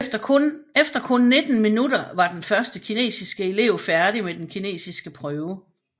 Efter kun 19 minutter var den første kinesiske elev færdig med den kinesiske prøve